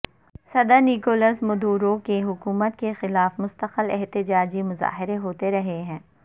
صدر Nicolas Maduro کی حکومت کے خلاف مستقل احتجاجی مظاہرے ہوتے رہے ہیں